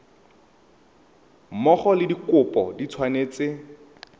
mmogo le dikopo di tshwanetse